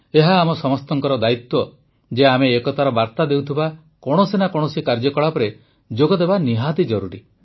ଏହା ଆମ ସମସ୍ତଙ୍କର ଦାୟିତ୍ୱ ଯେ ଆମେ ଏକତାର ବାର୍ତ୍ତା ଦେଉଥିବା କୌଣସି ନା କୌଣସି କାର୍ଯ୍ୟକଳାପରେ ଯୋଗଦେବା ଆବଶ୍ୟକ